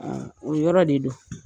o yɔrɔ de do.